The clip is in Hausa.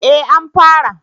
Eh an fara